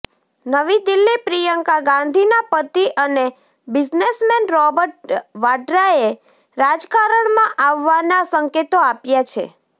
નવી દિલ્હીઃ પ્રિયંકા ગાંધીના પતિ અને બિઝનેશમેન રોબર્ટ વાડ્રાએ રાજકારણમાં આવવાના સંકેતો આપ્યા છે